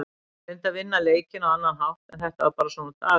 Hann reyndi að vinna leikinn á annan hátt en þetta var bara svona dagur.